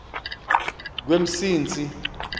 kwemsintsi